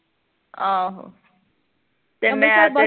ਆਹੋ ਤੇ ਮੈਂ ਤੇ